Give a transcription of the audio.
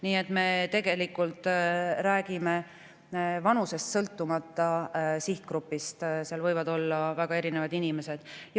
Nii et me räägime vanusest sõltumata sihtgrupist, sinna võivad kuuluda väga erinevad inimesed.